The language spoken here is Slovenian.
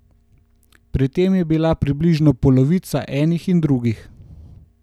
Pri tem je bila približno polovica enih in drugih.